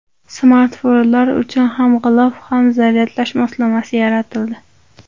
Smartfonlar uchun ham g‘ilof, ham zaryadlash moslamasi yaratildi.